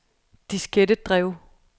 diskettedrev